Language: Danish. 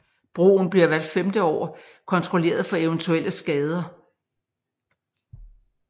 Broen bliver hvert 5 år kontrolleret for eventuelle skader